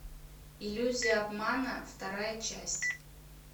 иллюзия обмана вторая часть